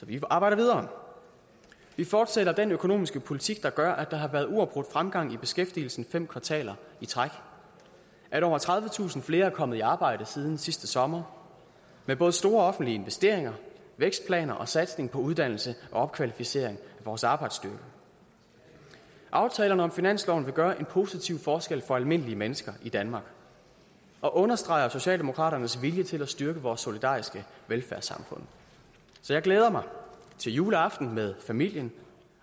vil arbejde videre vi fortsætter den økonomiske politik der gør at der har været uafbrudt fremgang i beskæftigelsen fem kvartaler i træk og at over tredivetusind flere er kommet i arbejde siden sidste sommer med både store offentlige investeringer vækstplaner og satsning på uddannelse og opkvalificering af vores arbejdsstyrke aftalerne om finansloven vil gøre en positiv forskel for almindelige mennesker i danmark og understreger socialdemokraternes vilje til at styrke vores solidariske velfærdssamfund så jeg glæder mig til juleaften med familien